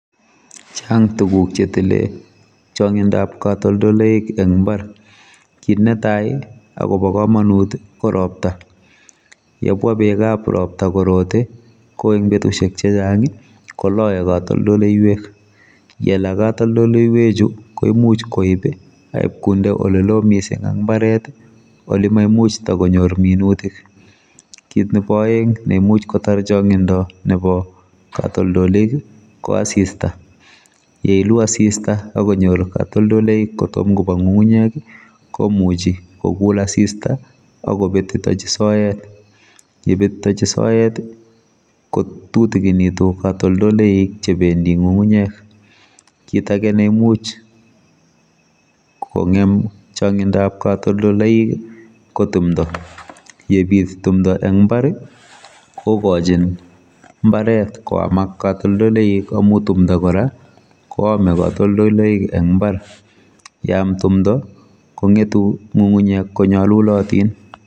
chang tuguk chetile changindop katoldoloik eng imbar kit netai akobo kamanut koropta yebwabekab ropta korote koeng betusiek chechang koloe katoldoleiwek yela katoldoleiwekchu koimuch koib akipkonde olelo mising eng imbaret olemaimuch kotikonyor minutik kit nebo aeeng neimuch kotar changindo nebo katoldoliok ko asista yeilu asista akonyor katoldoloik kotom kopa ngungunyek komuchi kokul asista akobetitochi soet yebetitochi soet kotutiginitu katoldoloik chebendi ngungunyek kit ake neimuch kongem chongindob katoldoloik ko timdo yemi timdo eng imbar kokochin mbaret kwamak katoldoloik amu timdo kora koamei katoldoloik eng imbar yeam timdo kongetu imbaret konyolulotin